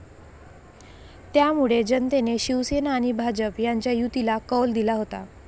त्यामुळे जनतेने शिवसेना आणि भाजप यांच्या युतीला कौल दिला होता.